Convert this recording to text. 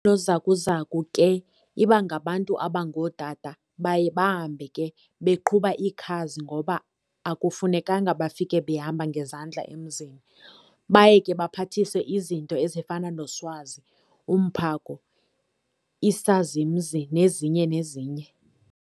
Oonozakuzaku ke ibangabantu abangoo Tata, baye bahambe ke beqhuba iikhazi ngoba akufunekanga bafike behamba ngezandla emzini. Baye ke baphathiswe iznto ezifana no- swazi, umphako, isazimzi nezinye nezinye.